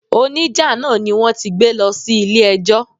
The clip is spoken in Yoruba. O ní jà náà ni wón ti gbé lọ sí ilé ẹjọ́.